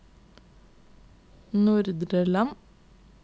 Nordre Land